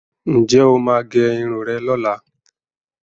Ǹ jẹ́ o máa gẹ irun rẹ lọ́la?